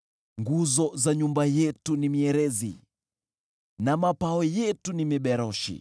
Nguzo za nyumba yetu ni mierezi, na mapao yetu ni miberoshi.